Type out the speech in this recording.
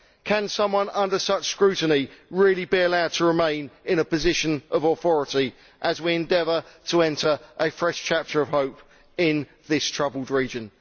Can someone under such scrutiny really be allowed to remain in a position of authority as we endeavour to enter a fresh chapter of hope in this troubled region?